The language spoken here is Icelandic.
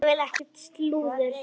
Ég vil ekkert slúður.